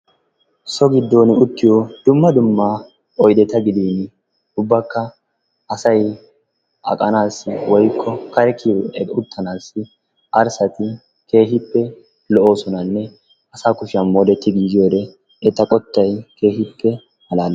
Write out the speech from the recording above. So giddon uttiyo dumma dumma oyddeta gidin woykko asay uttanassi kare kiyyiyoode arssati keehippe lo''osonanne asaa kushiyaa moodetti giigiyoode eta qottay keehippe malaalees.